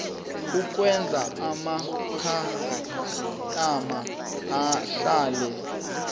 ukwenza amakhastama ahlale